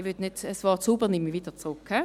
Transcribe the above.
Das Wort «sauber» nehme ich wieder zurück.